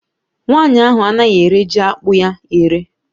Nwaanyị ahụ anaghị ere jiakpụ ya ere